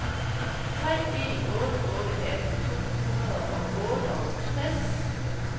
tre en otte otte atten to hundrede og otteogtres